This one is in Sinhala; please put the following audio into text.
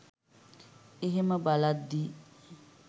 ඒහෙම බලද්දි